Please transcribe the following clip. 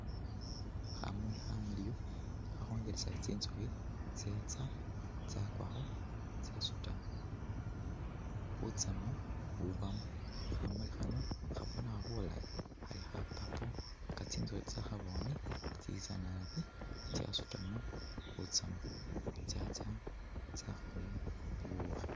Khamuli khamiliyu khakhongelesa tsi tsukhi tsetsa tsakwakho tsasuuta butsaamu bu bamo, khamuli khano khabonekha bulayi khali kha purple nga tsintsukhi tsakhabone tsitsa naabi tsyasuutamo butsamu tsyatsa tsakholelamo bubukhi